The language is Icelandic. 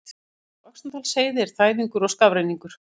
Á Öxnadalsheiði er þæfingur og skafrenningur